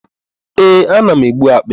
Ee, ana m egbu akpị.